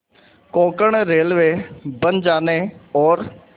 Konkan railway बन जाने और